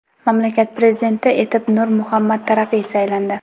Mamlakat prezidenti etib Nur Muhammad Taraqiy saylandi.